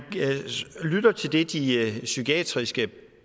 lytter til det de psykiatriske